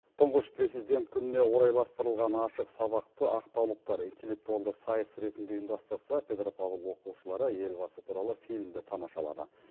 тұңғыш президент күніне орайластырылған ашық сабақты ақтаулықтар интеллектуалды сайыс ретінде ұйымдастырса петропавл оқушылары елбасы туралы фильмді тамашалады